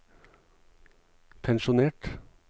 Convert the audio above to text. pensjonert